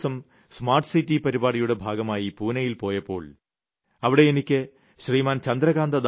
ഞാൻ കഴിഞ്ഞ ദിവസം സ്മാർട്ട് സിറ്റി പരിപാടിയുടെ ഭാഗമായി പൂനൈയിൽ പോയപ്പോൾ അവിടെ എനിയ്ക്ക് ശ്രീമാൻ